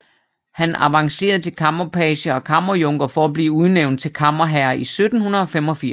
Han avancerede til kammerpage og kammerjunker for at blive udnævnt til kammerherre i 1785